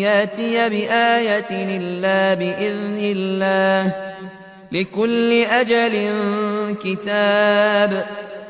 يَأْتِيَ بِآيَةٍ إِلَّا بِإِذْنِ اللَّهِ ۗ لِكُلِّ أَجَلٍ كِتَابٌ